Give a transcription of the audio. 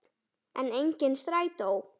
En, enginn strætó!